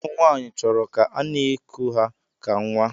Ụmụnwanyi chọrọ ka ana iku ha ka nwa.